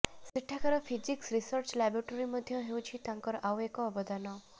ସେଠାକାର physics research laboratory ମଧୢ ହେଉଛି ତାଙ୍କର ଆଉ ଏକ ଅବଦାନ